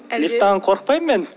лифттан қорықпаймын мен